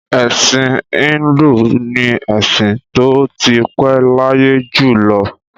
Ẹ̀sìn Híńdù ni ẹ̀sìn tó ti pẹ́ láyé jù lọ.